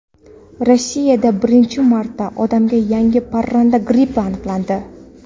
Rossiyada birinchi marta odamda yangi parranda grippi aniqlandi.